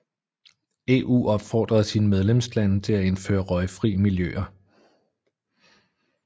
EU opfordede sine medlemslande til at indføre røgfri miljøer